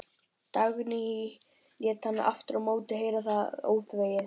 Dagný lét hann aftur á móti heyra það óþvegið.